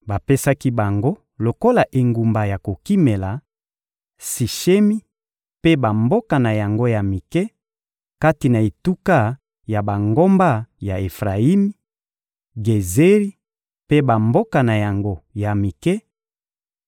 Bapesaki bango lokola engumba ya kokimela: Sishemi mpe bamboka na yango ya mike, kati na etuka ya bangomba ya Efrayimi, Gezeri mpe bamboka na yango ya mike,